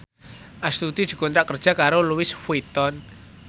Astuti dikontrak kerja karo Louis Vuitton